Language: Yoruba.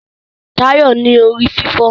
Tayo ń ní orí-fífọ́.